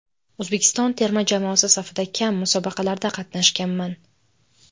O‘zbekiston terma jamoasi safida kam musobaqalarda qatnashganman.